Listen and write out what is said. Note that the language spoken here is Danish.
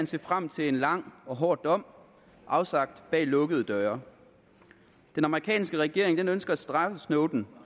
se frem til en lang og hård dom afsagt bag lukkede døre den amerikanske regering ønsker at straffe snowden